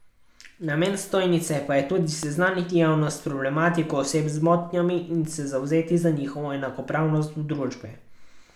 Namen stojnice pa je tudi seznaniti javnost s problematiko oseb z motnjami in se zavzeti za njihovo enakopravnost v družbi.